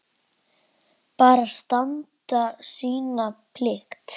Bara standa sína plikt.